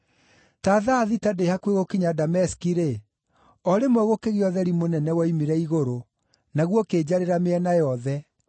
“Ta thaa thita ndĩ hakuhĩ gũkinya Dameski-rĩ, o rĩmwe gũkĩgĩa ũtheri mũnene woimire igũrũ, naguo ũkĩnjarĩra mĩena yothe.